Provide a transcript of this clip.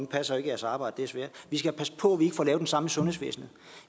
passer ikke jeres arbejde det er svært vi skal passe på at vi ikke får lavet det samme i sundhedsvæsenet